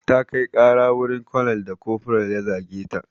Ta kai ƙara wurin konel da kofural ya zage ta.